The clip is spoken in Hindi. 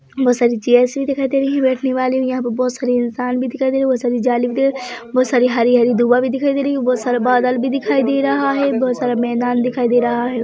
बहोत सारी चेयर्स भी दिखाई दे रही है बैठने वाली यहाँ पे बहोत सारी इंसान भी दिखाई दे रही है बहोत सारी जाली बहुत सारी हरी हरी दूर्वा भी दिखाई दे रही है बहोत सारे बादल भी दिखाई दे रहा है बहोत सारा मैदान दिखाई दे रहा है।